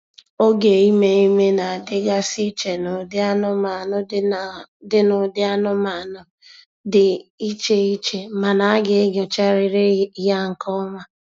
Oge ime ime na-adịgasị iche n'ụdị anụmanụ dị n'ụdị anụmanụ dị iche iche mana a ga-enyocharịrị ya nke ọma.